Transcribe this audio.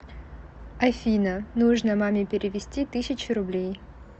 афина нужно маме перевести тысячу рублей